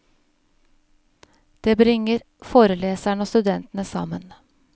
Det bringer foreleserne og studentene sammen.